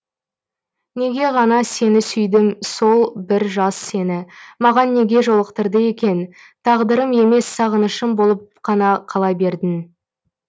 неге ғана сені сүйдім сол бір жаз сені маған неге жолықтырды екен тағдырым емес сағынышым болып қана қала бердің